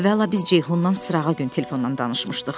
Əvvəla biz Ceyhunla sırağa gün telefonda danışmışdıq.